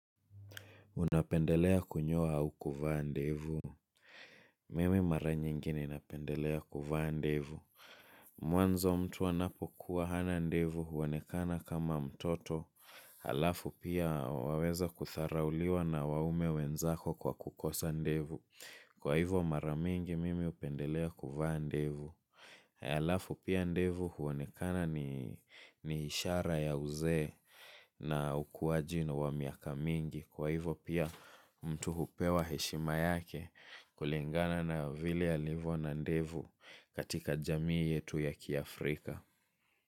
Unapendelea kunyoa au kuvaa ndevu. Mimi mara nyingine napendelea kuvaa ndevu. Mwanzo mtu anapokuwa hana ndevu huonekana kama mtoto. Alafu pia waweza kudharauliwa na waume wenzako kwa kukosa ndevu. Kwa hivyo mara mingi mimi hupendelea kuvaa ndevu. Haya alafu pia ndevu huonekana ni ishara ya uzee na ukuwaji wa miaka mingi kwa hivyo pia mtu hupewa heshima yake kulingana na vile alivyo na ndevu katika jamii yetu ya kiafrika.